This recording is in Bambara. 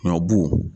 Ɲɔbu